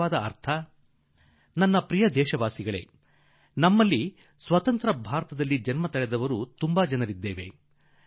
ಒಲವಿನ ದೇಶವಾಸಿಗಳೇ ನಮ್ಮಲ್ಲಿ ಕೆಲವರು ಸ್ವಾತಂತ್ರ್ಯ ಬಂದ ಮೇಲೆ ಹಟ್ಟಿದವರಿದ್ದೇವೆ